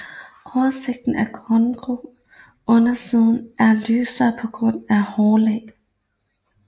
Oversiden er grågrøn og undersiden er lysere på grund af et hårlag